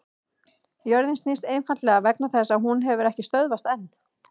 Jörðin snýst einfaldlega vegna þess að hún hefur ekki stöðvast enn!